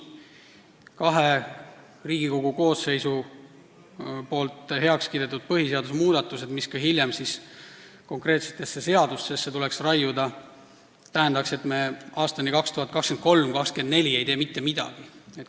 Põhiseaduse muudatused tuleks heaks kiita kahes Riigikogu koosseisus ja need tuleks hiljem ka konkreetsetesse seadustesse raiuda, mis tähendaks, et aastani 2023 või 2024 ei tee me mitte midagi.